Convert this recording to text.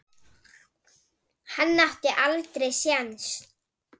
Hann átti aldrei séns.